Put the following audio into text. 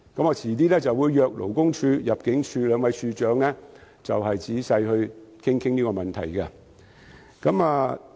我稍後會邀請勞工處和入境事務處兩位處長仔細討論這個問題。